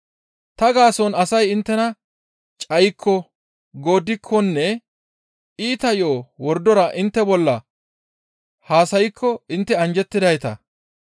«Ta gaason asay inttena cayikko, gooddikkonne iita yo7o wordora intte bolla haasaykko intte anjjettidayta.